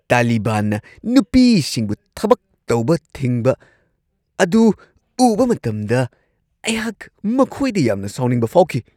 ꯇꯥꯂꯤꯕꯥꯟꯅ ꯅꯨꯄꯤꯁꯤꯡꯕꯨ ꯊꯕꯛ ꯇꯧꯕ ꯊꯤꯡꯕ ꯑꯗꯨ ꯎꯕ ꯃꯇꯝꯗ, ꯑꯩꯍꯥꯛ ꯃꯈꯣꯏꯗ ꯌꯥꯝꯅ ꯁꯥꯎꯅꯤꯡꯕ ꯐꯥꯎꯈꯤ ꯫